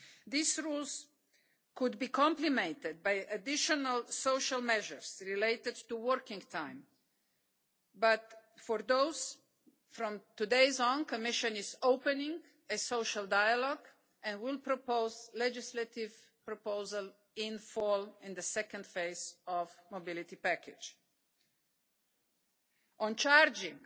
These rules could be complemented by additional social measures relating to working time but, for those, from today onwards the Commission is opening a social dialogue and will propose legislative proposals in the autumn in the second phase of the mobility package. On charging,